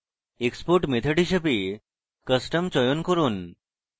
export method হিসাবে custom চয়ন করুন